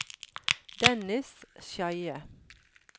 Dennis Skeie